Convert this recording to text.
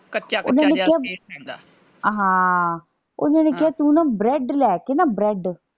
ਕੱਚਾ ਕੱਚਾ ਜਾ ਨਹੀਂ ਰਹਿੰਦਾ ਹਾਂ, ਓਹਨਾ ਨੇ ਕਿਹਾ ਤੂੰ ਨਾ bread ਲੈ ਕੇ ਨਾ bread